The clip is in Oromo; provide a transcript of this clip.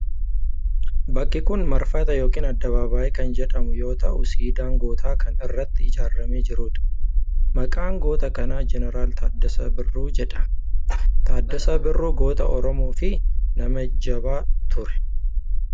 Bakki kun marfata yookiin addabaabayyii kan jedhamu yoo ta’u siidaan gootaa kan irratti ijaaramee jirudha. Maqaan goota kanaa Jeneraal Taaddasaa Birruu jedhama. Taadasaa Birruu goota Oromoo fi nama jabaa ture.